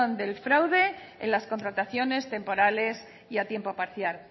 del fraude en las contrataciones temporales y a tiempo parcial